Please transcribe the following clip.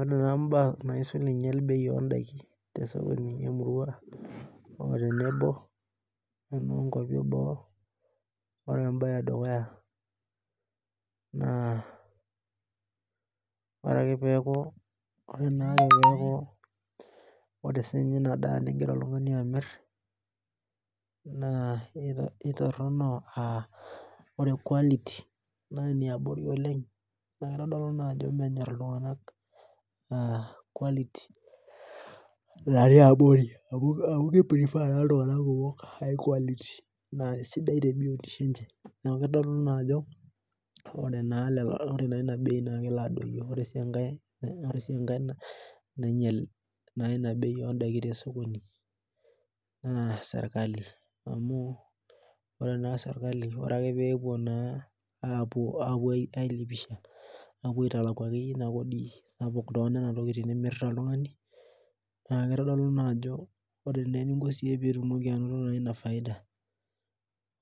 Ore naa baa naisul inyel bei odaiki tesokoni emurua, o tenebo ono nkwapi eboo, ore ebae edukuya naa, ore ake peeku ore nake peku ore sinye inadaa nigira oltung'ani amir, naa itorrono ah ore quality na eniabori oleng, na kitodolu najo menyor iltung'anak quality natii abori amu ki prefer naa iltung'anak kumok high quality. Naa esidai tebiotisho enche. Neeku kitodolu naajo, ore naa lelo ore naa ina bei naa kelo adoyio. Ore si enkae, ore si enkae nainyel ina bei odaiki tesokoni, naa serkali. Amu, ore naa serkali ore ake pepuo naa apuo ai lipisha, apuo aitalaku akeyie inakodi sapuk tonena tokiting nimirta oltung'ani, naa kitodolu najo ore neninko siyie pitumoki anoto ina faida,